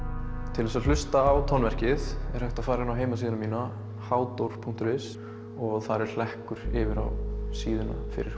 til þess að hlusta á tónverkið er hægt að fara inn á heimasíðuna mína punktur is og þar er hlekkur yfir á síðuna fyrir